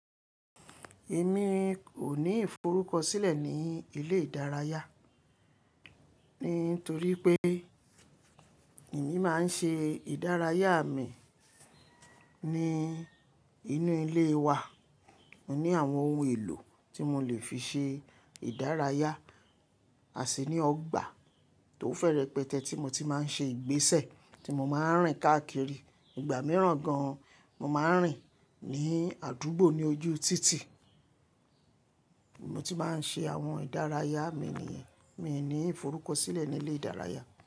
Èmi o ní ìforúkọ sílẹ̀ ní ilé ìdárayá, nítorí pé èmi máa ń ṣe ìdárayá mi ní inú ilé wa. Mo ní àwọn ohun èlò tí mo lè fi ṣe ìdárayá, àṣìní ọgbà tó fẹ́rẹ́ pẹtẹ tí mo ti máa ń ṣe ìgbésẹ̀ tí mo máa ń rìn káàkiri. Ìgbà mìíràn gan, mo máa ń rìn ní àdúgbò ní ojú títì. Mo ti máa ń ṣe àwọn ìdárayá mi nìyẹn. Mi ò ní ìforúkọ sílẹ̀ ní ilé ìdárayá.